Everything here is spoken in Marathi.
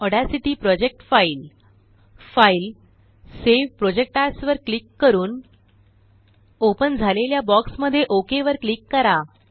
Audacity project file file gt gt save project Asवर क्लिक करून जीटीजीटी ओपन झालेल्या बॉक्स मध्ये ओक वर क्लिक करा